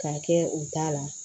K'a kɛ u ta la